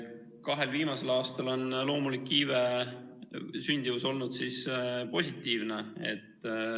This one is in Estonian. Kahel viimasel aastal on loomulik iive, sündimus olnud positiivne.